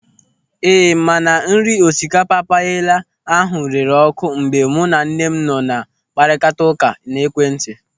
Ee, mana nri osikapa payela ahụ rere ọ́kụ́ mgbe mụ na nne m nọ na-akparịta ụka n'ekwentị.